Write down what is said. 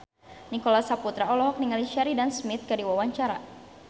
Nicholas Saputra olohok ningali Sheridan Smith keur diwawancara